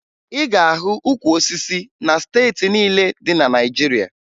Ị ga-ahụ ukwu osisi na steeti niile dị na Naịjirịa